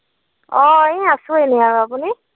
অ এই আছো এনেই আৰু। আপুনি?